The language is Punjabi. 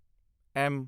ਐਮ